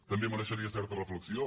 també mereixeria certa reflexió